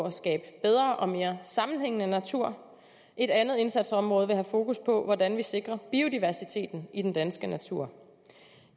at skabe bedre og mere sammenhængende natur et andet indsatsområde vil have fokus på hvordan vi sikrer biodiversiteten i den danske natur